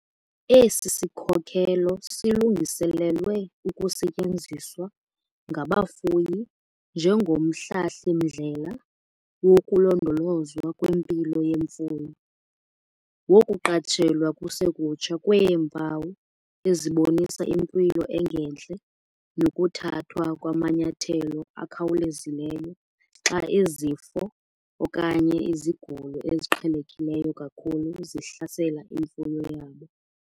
Esi sikhokelo silungiselelwe ukusetyenziswa ngabafuyi njengomhlahli-mndlela wokulondolozwa kwempilo yemfuyo, wokuqatshelwa kusekutsha kweempawu ezibonisa impilo engentle nokuthathwa kwamanyathelo akhawulezileyo xa izifo okanye izigulo eziqhelekileyo kakhulu zihlasela imfuyo yabo.